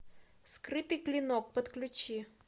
скрытый клинок подключи